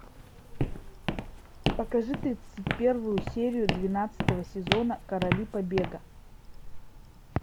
покажи тридцать первую серию двенадцатого сезона короли побега